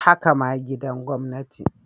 Haka ma gidan gwamnati.